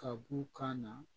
Ka b'u kan na